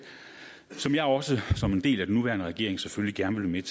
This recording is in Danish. som jeg også som en del af den nuværende regering selvfølgelig gerne vil